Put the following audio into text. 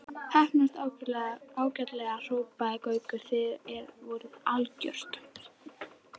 Heppnaðist ágætlega hrópaði Gaukur, þið voruð algjört.